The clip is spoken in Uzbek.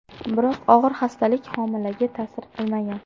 Biroq og‘ir xastalik homilaga ta’sir qilmagan.